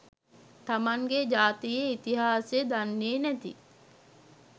තමන්ගේ ජාතියේ ඉතිහාසය දන්නේ නැති